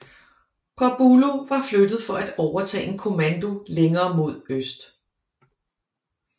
Corbulo var flyttet for at overtage en kommando længere mod øst